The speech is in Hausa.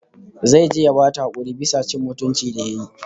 Zai je ya bata hakuri bisa cin mutuncin ta da yayi